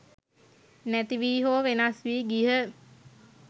නැති වී හෝ වෙනස් වී ගියහ.